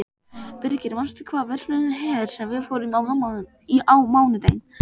Birgir, manstu hvað verslunin hét sem við fórum í á mánudaginn?